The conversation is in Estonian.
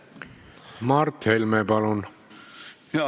Mart Helme, palun!